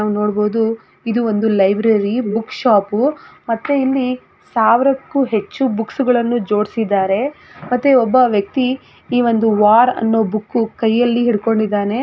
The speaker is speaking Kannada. ನಾವು ನೋಡಬಹುದು ಇದು ಒಂದು ಲೈಬ್ರರಿ ಬುಕ್ ಶಾಪ್ ಮತ್ತೆ ಇಲ್ಲಿ ಸಾವಿರಕ್ಕೂ ಹೆಚ್ಚು ಬುಕ್ಸ್ಗಳನ್ನೂ ಜೋಡಿಸಿದಾರೆ ಮತ್ತೆ ಒಬ್ಬ ವ್ಯಕ್ತಿ ಈ ಒಂದು ವಾರ್ ಅನ್ನೋ ಬುಕ್ ಕೈಯಲ್ಲಿ ಹಿಡ್ಕೊಂಡಿದ್ದಾನೆ.